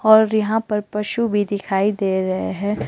और यहां पर पशु भी दिखाई दे रहे हैं।